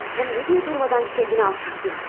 Həm nəyə görə dayanmadan özünü alçaldırsan?